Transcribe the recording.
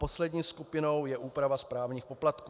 Poslední skupinou je úprava správních poplatků.